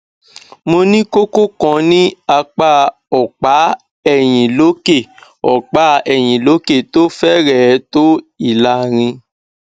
mo ní kókó kan ní apá ọpá ẹyìn lókè ọpá ẹyìn lókè tó fẹrẹẹ tó ìlàrin